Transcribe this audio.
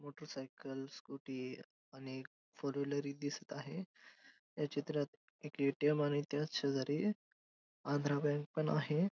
Motorcycles scooty आणि four wheeler ही दिसत आहे या चित्रात ए_टी_एम आणि त्याच शेजारी आंध्रा बँक पण आहे.